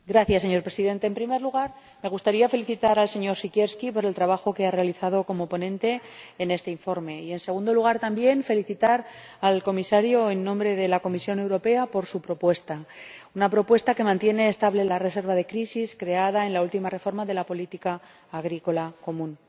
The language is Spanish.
Señor Presidente, en primer lugar me gustaría felicitar al señor Siekierski por el trabajo que ha realizado como ponente en este informe y, en segundo lugar, también felicitar al Comisario, como representante de la Comisión Europea, por su propuesta, una propuesta que mantiene estable la reserva de crisis creada en la última reforma de la política agrícola común.